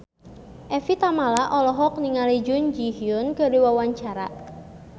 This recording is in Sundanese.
Evie Tamala olohok ningali Jun Ji Hyun keur diwawancara